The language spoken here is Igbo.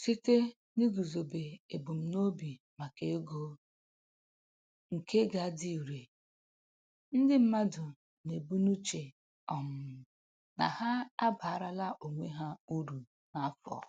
Site n'iguzobe ebumnobi maka ego nke ga-adị ire, ndị mmadụ na-ebu n'uche um na ha abaarala onwe ha uru n'afọ.